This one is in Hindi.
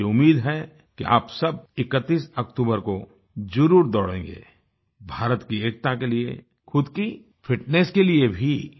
मुझे उम्मीद है कि आप सब 31 अक्तूबर को ज़रूर दौड़ेगें भारत की एकता के लिए ख़ुद की फिटनेस के लिये भी